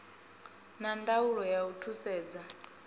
na ndaulo ya u thusedza